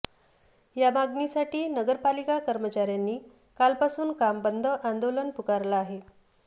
या मागणीसाठी नगरपालिका कर्मचाऱ्यांनी कालपासून काम बंद आंदोलन पुकारलं आहे